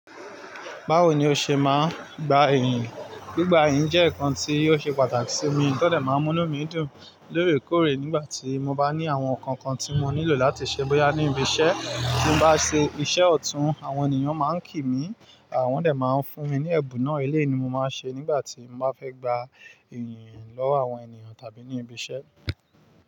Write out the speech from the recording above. Báwo ni o ṣe máa ń gba iyìǹ? Gbigba iyìǹ jẹ́ ǹkan tí yóò ṣe pàtàkì sí mi. Tó dé máa ń mú inú mí dùn lórèkóòrè nígbà tí mo bá ní àwọn ǹkan kan tí mo nílò láti ṣe bóyá ní ibi iṣẹ́ tí mo bá ṣe iṣẹ́ ọ̀tún àwọn ènìyàn máa ń kí mi. Àwọn dẹ̀ máa ń fún mi ní ẹ̀bùn náà. Ilé ni mo máa ń ṣe nígbà tí mo bá fẹ́ gba iyìǹ lọ́wọ́ àwọn ènìyàn tàbí ní ibi iṣẹ́.